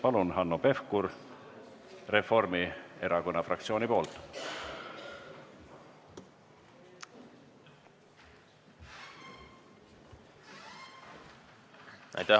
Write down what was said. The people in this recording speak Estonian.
Palun, Hanno Pevkur Reformierakonna fraktsiooni nimel!